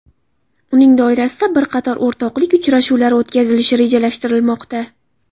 Uning doirasida bir qator o‘rtoqlik uchrashuvlari o‘tkazilishi rejalashtirilmoqda.